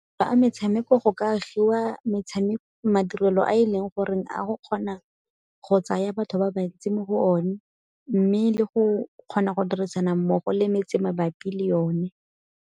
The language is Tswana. Fa metshameko go ka agiwa madirelo a e leng gore a go kgona go tsaya batho ba bantsi mo go one mme le go kgona go dirisana mmogo le metse mabapi le yone.